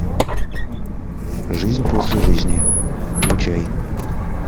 жизнь после жизни включай